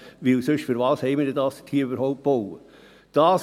Denn sonst: Wofür haben wir das denn dort überhaupt gebaut?